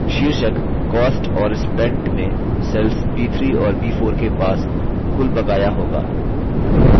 शीर्षक cost और spent में cells b3 और b4 के पास कुल बकाया होगा